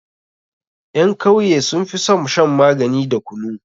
Ƴan kauye sun fi son shan magani da kunu.